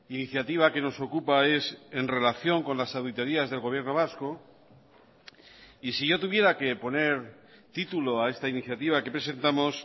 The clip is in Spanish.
iniciativa que nos ocupa es en relación con las auditorías del gobierno vasco y si yo tuviera que poner título a esta iniciativa que presentamos